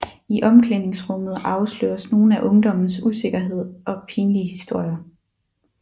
I omklæningsrummet afsløres nogle af ungdommens usikkerheder og pinlige historier